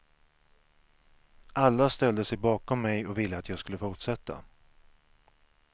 Alla ställde sig bakom mig och ville att jag skulle fortsätta.